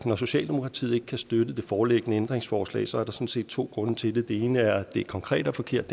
når socialdemokratiet ikke kan støtte det foreliggende ændringsforslag sådan set to grunde til det den ene er at det konkret er forkert